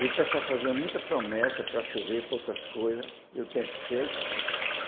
E o pessoal fazia muita promessa para chover, com outras coisas, e o tempo seco.